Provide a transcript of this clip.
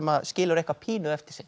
skilur eitthvað pínu eftir sig